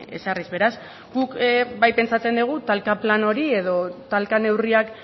ezarriz beraz guk bai pentsatzen dugu talka plan hori edo talka neurriak